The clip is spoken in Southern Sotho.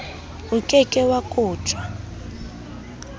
o ke ke wa kotjwa